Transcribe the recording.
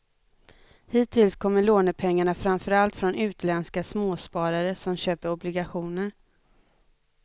Hittills kommer lånepengarna framför allt från utländska småsparare som köper obligationer.